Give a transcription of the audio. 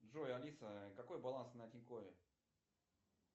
джой алиса какой баланс на тинькове